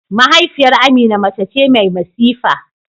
Mahaifiyar Amina mace ce mai masifa.